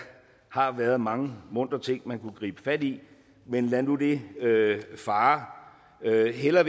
har været mange muntre ting man kunne gribe fat i men lad nu det fare jeg vil hellere